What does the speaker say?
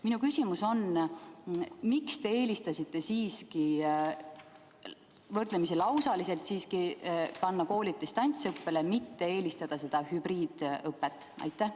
Minu küsimus on: miks te eelistasite siiski võrdlemisi lausaliselt panna koolid distantsõppele, mitte ei poolda hübriidõpet?